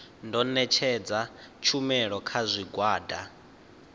ḓo ṋetshedza tshumelo kha zwigwada